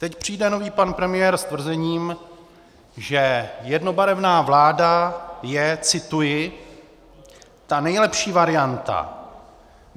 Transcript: Teď přijde nový pan premiér s tvrzením, že jednobarevná vláda je, cituji: "ta nejlepší varianta.